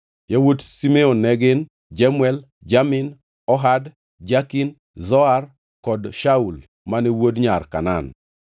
Yawuot Simeon ne gin: Jemuel, Jamin, Ohad, Jakin, Zohar kod Shaul mane wuod nyar Kanaan.